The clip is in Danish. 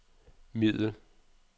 middel